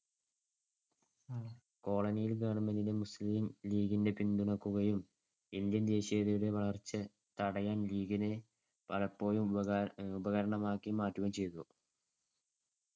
colony ല്‍ government Muslim ലീഗിനെ പിന്തുണക്കുകയും ഇന്ത്യൻ ദേശീയതയുടെ വളർച്ചയെ തടയാൻ ലീഗിനെ പലപ്പോഴും ഉപകാ~ ഉപകരണമാക്കിമാറ്റുകയും ചെയ്‌തു.